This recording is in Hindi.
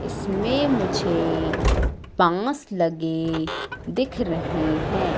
इसमें मुझे बांस लगे दिख रहे हैं।